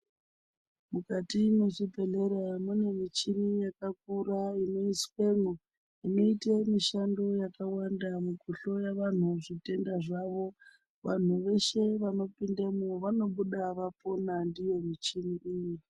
Mukati mwechibhedhlera mune michini yakakura inoiswemwo, inoite mishando yakawanda mukuhloya vanhu zvitenda zvavo. Vanhu veshe vano pindemwo vanobuda vapona ndiyo michini iyi.